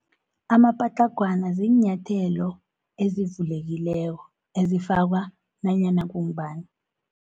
Amapatlagwana ziinyathelo ezivulekileko, ezifakwa nanyana kungubani.